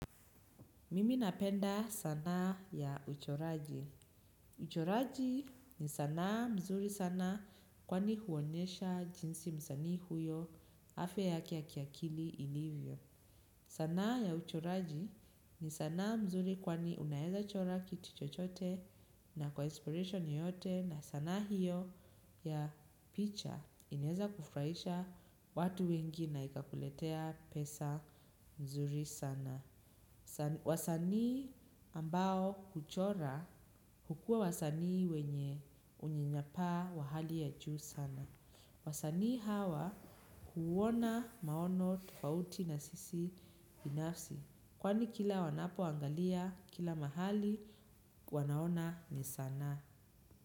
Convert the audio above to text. Mimi napenda sanaa ya uchoraji. Uchoraji ni sanaa mzuri sana kwani huonyesha jinsi msanii huyo afya yake ya kiakili ilivyo. Sanaa ya uchoraji ni sanaa mzuri kwani unaeza chora kitu chochote na kwa inspiration yoyote na sana hiyo ya picha inaeza kufurahisha watu wengi na ikakuletea pesa mzuri sana. Wasanii ambao kuchora hukua wasanii wenye unyanyapaa wa hali ya juu sana. Wasanii hawa huona maono tofauti na sisi binafsi. Kwani kila wanapoangalia kila mahali wanaona ni sanaa.